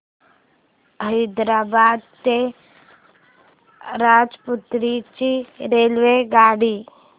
हैदराबाद ते राजमुंद्री ची रेल्वेगाडी